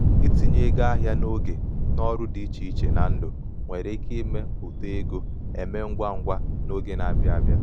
itinye ego ahịa n'oge n'ọrụ dị iche iche na ndụ nwere ike ime uto ego emee ngwa ngwa n'oge na-abịa abịa.